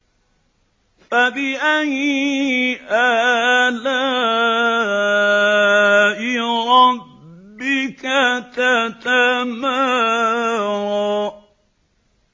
فَبِأَيِّ آلَاءِ رَبِّكَ تَتَمَارَىٰ